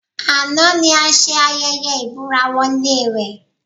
Àná ni a ṣe ayẹyẹ ìbúra-wọlé rẹ̀